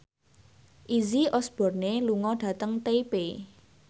Izzy Osborne lunga dhateng Taipei